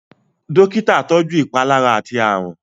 Dọ́kítà tọjú ìpalára àti àrùn.